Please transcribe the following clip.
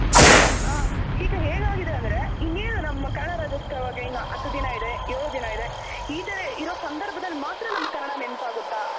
ಹ ಈಗ ಏನಾಗಿದೆ ಅಂದ್ರೆ ಇನ್ನೇನ್ ನಮ್ಮ ಕನ್ನಡ ರಾಜ್ಯೋತ್ಸವಗೆ ಇನ್ನು ಹತ್ ದಿನ ಇದೆ, ಯೋಳ್ ದಿನ ಇದೆ ಇ ತರ ಇರೋ ಸಂಧರ್ಭದಲ್ ಮಾತ್ರ ನಮ್ಗ್ ಕನ್ನಡ ನೆನಪಾಗುತ್ತ.